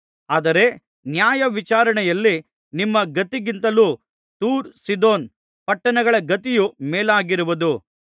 ಆದರೆ ನ್ಯಾಯವಿಚಾರಣೆಯಲ್ಲಿ ನಿಮ್ಮ ಗತಿಗಿಂತಲೂ ತೂರ್ ಸೀದೋನ್ ಪಟ್ಟಣಗಳ ಗತಿಯು ಮೇಲಾಗಿರುವುದು